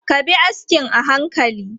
Ka bi askin a hankali!